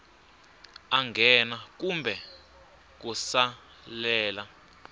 a nghena kumbe ku salela